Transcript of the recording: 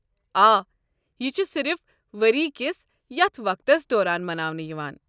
آ، یہ چھُ صِرف ؤرِیہ كِس ییتھہِ وقتس دوران مناونہٕ یوان ۔